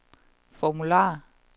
formular